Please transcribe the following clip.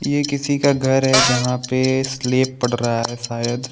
ये किसी का घर है जहाँ पे स्लेब पड रहा है सायद।